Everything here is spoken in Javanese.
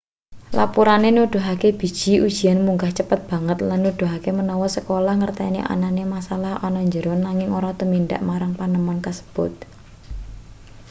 lapurane nuduhake biji ujian munggah cepet banget lan nuduhake menawa sekolah ngerteni anane masalah ana jero nanging ora tumindak marang panemon kasebut